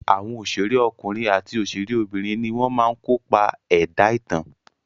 Àwọn òṣèré ọkùnrin àti òṣèré obìnrin ni wọ́n máa ń kopa ẹ̀dá ìtàn.